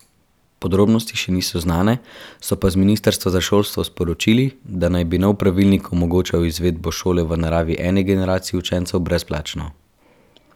Podrobnosti še niso znane, so pa z ministrstva za šolstvo sporočili, da naj bi nov pravilnik omogočal izvedbo šole v naravi eni generaciji učencev brezplačno.